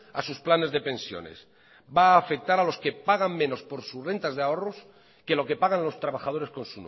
a sus planes de pensiones va a afectar a los que pagan menos por sus rentas de ahorros que lo que pagan los trabajadores con